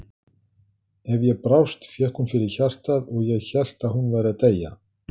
Ef ég brást fékk hún fyrir hjartað og ég hélt að hún væri að deyja.